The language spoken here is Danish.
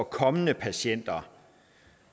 kommende patienter